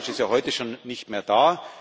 Farage ist ja heute schon nicht mehr da.